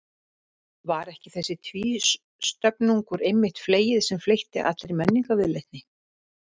Var ekki þessi tvístöfnungur einmitt fleyið sem fleytti allri menningarviðleitni?